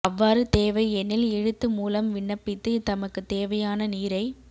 அவ்வாறு தேவை எனில் எழுத்து மூலம் விண்ணப்பித்து தமக்கு தேவையான நீரை